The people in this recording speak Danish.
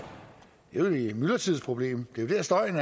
jo et myldretidsproblem det er jo der støjen